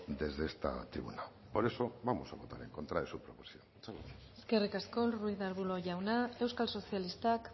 desde esta tribuna por eso vamos a votar en contra de su proposición muchas gracias eskerrik asko ruiz de arbulo jauna euskal sozialistak